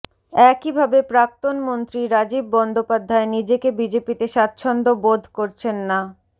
একইভাবে প্রাক্তন মন্ত্রী রাজীব বন্দ্যোপাধ্যায় নিজেকে বিজেপিতে স্বাচ্ছন্দ্য বোধ করছেন না